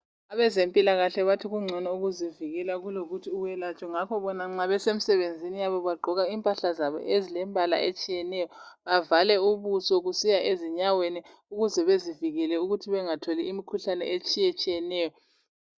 Abezempilakahle bathi kungcono ukuzivikela kulokuthi uwelatshwe ngakho bona nxa besemsebenzini yabo bagqoka impahla ezilembala etshiyeneyo bavale ubuso kusiya ezinyaweni ukuze bezivikele ukuthi bengatholi imikhuhlane etshiyetshiyeneyo.